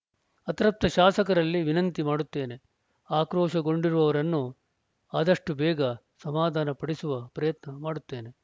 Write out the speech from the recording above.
ಅತೃಪ್ತ ಶಾಸಕರಲ್ಲಿ ವಿನಂತಿ ಮಾಡುತ್ತೇನೆ ಆಕ್ರೋಶಗೊಂಡಿರುವವರನ್ನು ಆದಷ್ಟುಬೇಗ ಸಮಧಾನ ಪಡಿಸುವ ಪ್ರಯತ್ನ ಮಾಡುತ್ತೇನೆ